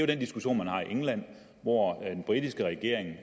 den diskussion man har i england hvor den britiske regering er